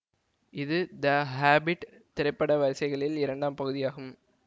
இது the Hobbit திரைப்பட வரிசைகளில் இரண்டாம் பகுதியாகும்